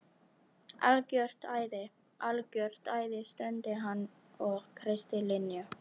Algjört æði, algjört æði stundi hann og kreisti Linju.